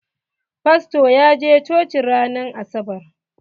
Fasto ya je coci ran asabar.